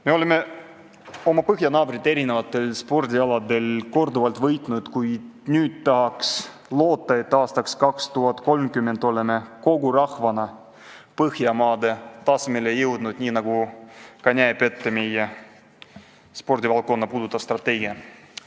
Me oleme oma põhjanaabreid erinevatel spordialadel korduvalt võitnud, kuid tahaks loota, et aastaks 2030 oleme kogu rahvana Põhjamaade tasemele jõudnud, nii nagu näeb ette ka meie spordivaldkonda puudutav strateegia.